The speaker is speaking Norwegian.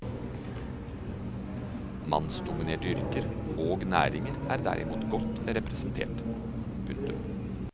Mannsdominerte yrker og næringer er derimot godt representert. punktum